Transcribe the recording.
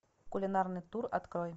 кулинарный тур открой